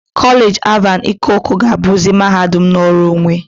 Kolej Alvan Ikoku ga-abuzi mahadum nnọrọ onwe.